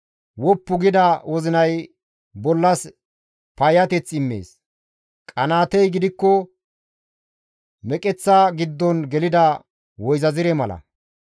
Woppu gida wozinay bollas payyateth immees; qanaatey gidikko meqeththa giddon gelida woyzazire mala.